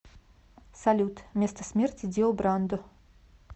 салют место смерти дио брандо